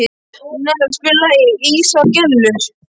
Nella, spilaðu lagið „Ísaðar Gellur“.